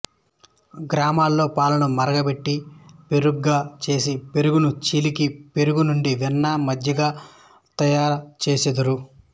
గ్రామాలలో పాలను మరుగపెట్టి పెరుగుగా చేసి పెరుగును చిలికి పెరుగు నుండి వెన్న మజ్జిగ తయారుచేయుదురు